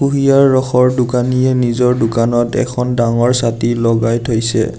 কুঁহিয়াৰ ৰসৰ দোকানীয়ে নিজৰ দোকানত এখন ডাঙৰ ছাতি লগাই থৈছে।